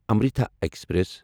Amritha express